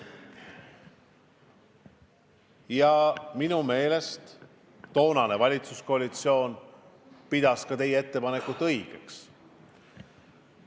Ja minu meelest toonane valitsuskoalitsioon pidas teie ettepanekut õigeks.